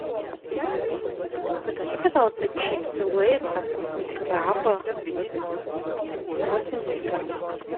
закажи пожалуйста чипсы лейс со вкусом краба восемьдесят грамм